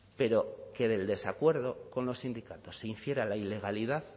pero que del desacuerdo con los sindicatos se hiciera la ilegalidad